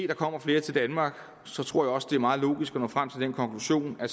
der kommer flere til danmark så tror jeg også det er meget logisk at nå frem til den konklusion at